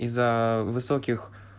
из-за высоких